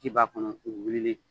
Ci b'a kɔnɔ u weleli